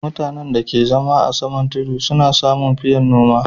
Mutanen da ka zama a saman tudu su na samu fiyan noma